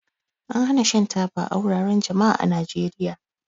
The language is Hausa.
An hana shan taba a wuraren jama'a a Najeriya.